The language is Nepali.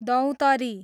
दौतरी